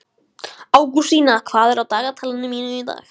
Ágústína, hvað er á dagatalinu mínu í dag?